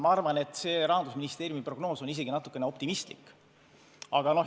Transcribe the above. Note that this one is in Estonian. Ma arvan, et Rahandusministeeriumi prognoos on isegi natukene optimistlik.